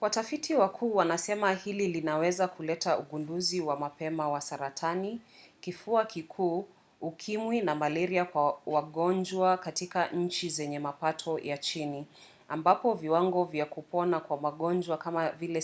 watafiti wakuu wanasema hili linaweza kuleta ugunduzi wa mapema wa saratani kifua kikuu ukimwi na malaria kwa wagonjwa katika nchi zenye mapato ya chini ambapo viwango vya kupona kwa magonjwa kama vile